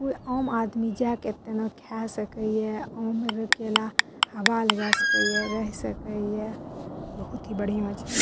कोई आम आदमी जा के तनी खा सकै हिये। आ उमें रे अकेला हवा लगा सकै हिये रह सकै हिये बहुत ही बढ़िया छे।